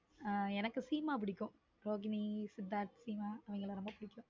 ஹம் எனக்கு சீமா பிடிக்கும் ரோகிணி, சித்தார்த் இவங்கள ரொம்ப பிடிக்கும்.